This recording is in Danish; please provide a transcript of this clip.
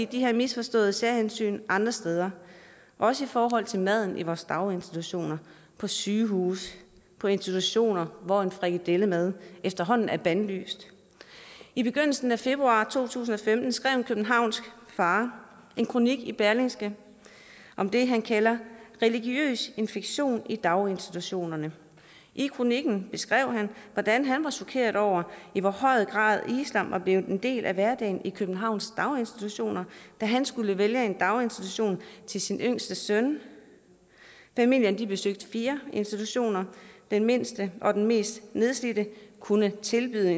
de her misforståede særhensyn andre steder også i forhold til maden i vores daginstitutioner på sygehuse og i institutioner hvor en frikadellemad efterhånden er bandlyst i begyndelsen af februar to tusind og femten skrev en københavnsk far en kronik i berlingske om det han kaldte religiøs infektion i daginstitutionerne i kronikken beskrev han hvordan han var chokeret over i hvor høj grad islam var blevet en del af hverdagen i københavns daginstitutioner da han skulle vælge en daginstitution til sin yngste søn familien besøgte fire institutioner den mindste og den mest nedslidte kunne tilbyde